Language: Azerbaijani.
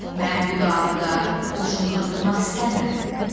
Mən bu davada qoşun qırdırmaq istəmirəm.